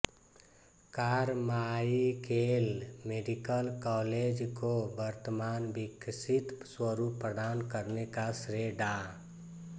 Carmichael medical college को वर्तमान विकसित स्वरूप प्रदान करने का श्रेय डा